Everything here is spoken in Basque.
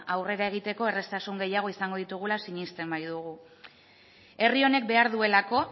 aurrera egiteko erraztasun gehiago izango ditugula sinesten baitugu herri honek behar duelako